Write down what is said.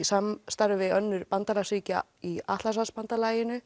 samstarfi við önnur bandalagsríki í